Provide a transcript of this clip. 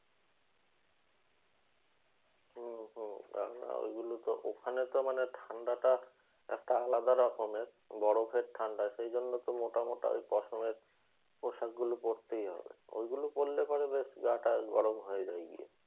হম হম আমরা ঐগুলো তো ওখানে তো মানে ঠাণ্ডাটা একটা আলাদা রকমের। বরফের ঠাণ্ডা সেইজন্য তো মোটা মোটা ঐ পশমের পোশাকগুলো পরতেই হয়। ঐগুলো পড়লে পরে বেশ গা টা গরম হয়ে যায়।